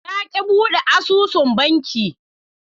Na ki bude asusun banki.